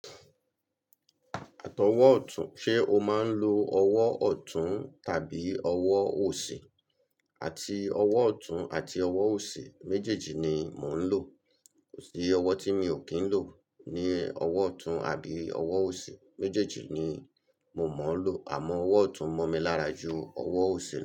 Àtọwọ́ ọ̀tún, ṣe o máa ń lo ọwọ́ ọ̀tún tàbí ọwọ́ òsì? Àti ọwọ́ ọ̀tún àti ọwọ́ òsì méjèèjì ni mò ń lò. Kò sí ọwọ́ tí mi ò kí ń lò. Ni ọwọ́ ọ̀tún àbí ọwọ́ òsì, méjèèjì ni mò mọ̀ ń lò. Àmọ́ ọwọ́ ọ̀tún mọ́ mi lára ju ọwọ́ òsì lọ.